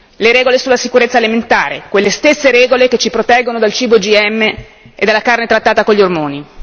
le regole sulla sicurezza alimentare, quelle stesse regole che ci proteggono dal cibo OGM e dalla carne trattata con gli ormoni